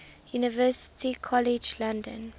university college london